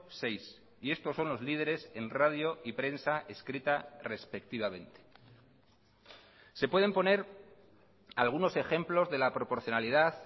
seis y estos son los lideres en radio y prensa escrita respectivamente se pueden poner algunos ejemplos de la proporcionalidad